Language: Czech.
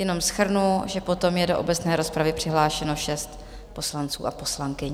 Jenom shrnu, že potom je do obecné rozpravy přihlášeno šest poslanců a poslankyň.